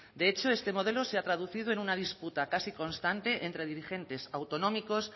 de hecho este modelo se ha traducido en una disputa casi constante entre dirigentes autonómicos